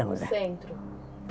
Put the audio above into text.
No centro?